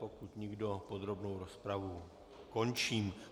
Pokud nikdo, podrobnou rozpravu končím.